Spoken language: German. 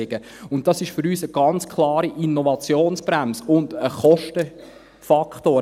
Für uns ist das eine ganz klare Innovationsbremse und ein Kostenfaktor.